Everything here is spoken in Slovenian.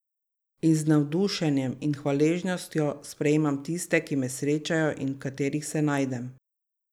In z navdušenjem in hvaležnostjo sprejmem tiste, ki me srečajo in v katerih se najdem.